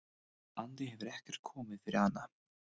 andi hefur ekkert komið fyrir hana.